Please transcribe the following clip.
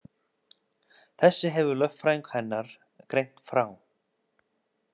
Þessu hefur lögfræðingur hennar greint frá